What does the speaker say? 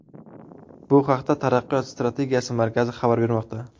Bu haqda Taraqqiyot strategiyasi markazi xabar bermoqda .